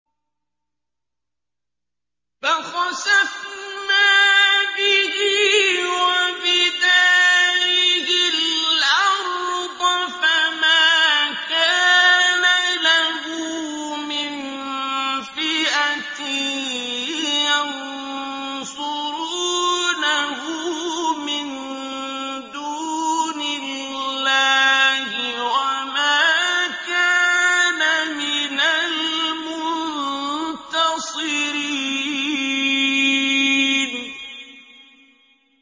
فَخَسَفْنَا بِهِ وَبِدَارِهِ الْأَرْضَ فَمَا كَانَ لَهُ مِن فِئَةٍ يَنصُرُونَهُ مِن دُونِ اللَّهِ وَمَا كَانَ مِنَ الْمُنتَصِرِينَ